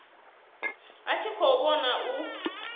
a tshi khou vhona u